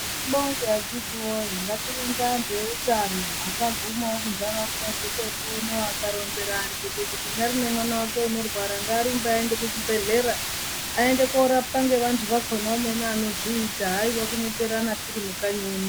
Tibonge akhiti woye ngatibonge antu eutano akagumawo kundaraunda dzekwedu uno akaronzera antu kuti unyari nemwana wake unorwara ngaarumbu ngaaende kuchibhedhlera aende korapwa ngevantu emene anozviita haiwa kunyeperana tirimukanyi munomu